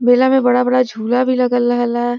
मेला में बड़ा-बड़ा झूला भी लगल रहल ह।